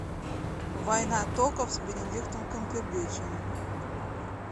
война токов с бенедиктом камбербэтчем